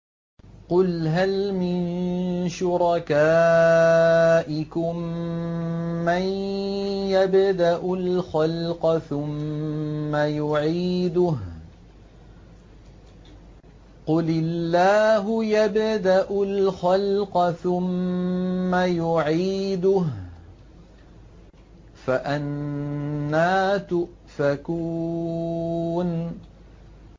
قُلْ هَلْ مِن شُرَكَائِكُم مَّن يَبْدَأُ الْخَلْقَ ثُمَّ يُعِيدُهُ ۚ قُلِ اللَّهُ يَبْدَأُ الْخَلْقَ ثُمَّ يُعِيدُهُ ۖ فَأَنَّىٰ تُؤْفَكُونَ